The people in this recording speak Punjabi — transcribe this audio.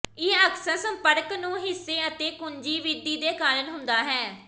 ਇਹ ਅਕਸਰ ਸੰਪਰਕ ਨੂੰ ਹਿੱਸੇ ਅਤੇ ਕੁੰਜੀ ਵਿਧੀ ਦੇ ਕਾਰਨ ਹੁੰਦਾ ਹੈ